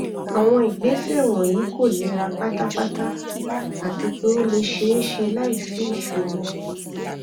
awọn igbese wọnyi ko nira patapata ati pe o le ṣee ṣe laisi iṣoro